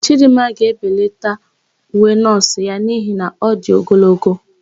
Chidịmma ga-ebelata uwe nọọsụ ya n'ihi na ọ dị ogologo.